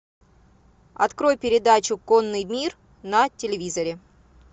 открой передачу конный мир на телевизоре